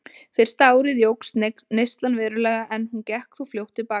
Fyrsta árið jókst neyslan verulega en hún gekk þó fljótt til baka.